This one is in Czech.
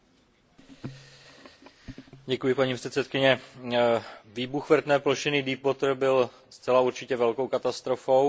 Výbuch vrtné plošiny Deepwater byl zcela určitě velkou katastrofou, byl varující jak pro Spojené státy, tak pro Evropu.